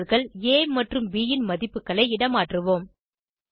variableகள் ஆ மற்றும் ப் ன் மதிப்புகளை இடமாற்றுவோம்